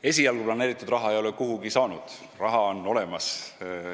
Esialgu planeeritud raha ei ole kuhugi saanud, raha on olemas.